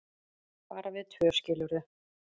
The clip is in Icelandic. bara við tvö, skilurðu.